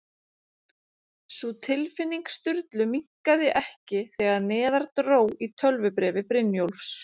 Sú tilfinning Sturlu minnkaði ekki þegar neðar dró í tölvubréfi Brynjólfs